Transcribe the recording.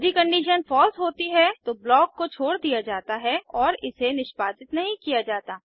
यदि condition false होती है तो ब्लॉक को छोड़ दिया जाता है और इसे निष्पादित नहीं किया जाता